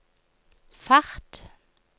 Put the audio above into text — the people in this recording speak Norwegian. fart